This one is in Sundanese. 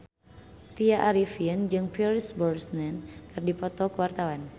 Tya Arifin jeung Pierce Brosnan keur dipoto ku wartawan